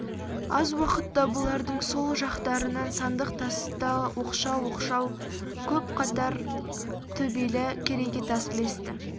аз уақытта бұлардың сол жақтырынан сандық тасты оқшау-оқшау көп қатар төбелі керегетас ілесті